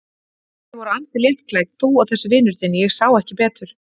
Þið voruð ansi léttklædd, þú og þessi vinur þinn, ég sá ekki betur.